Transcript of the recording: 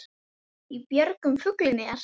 Í björgum fuglinn er.